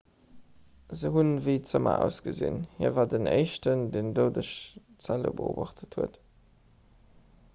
se hunn ewéi zëmmer ausgesinn hie war den éischten deen doudeg zelle beobacht huet